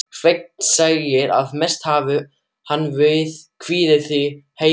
Sveinn segir, að mest hafi hann kviðið því heima á